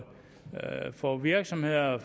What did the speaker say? få virksomheder